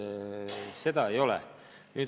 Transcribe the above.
Seda ei ole.